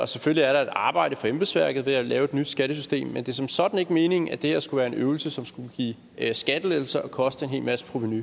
selvfølgelig er der et arbejde for embedsværket ved at lave et nyt skattesystem men det er som sådan ikke meningen at det her skulle være en øvelse som skulle give skattelettelser og koste en hel masse provenu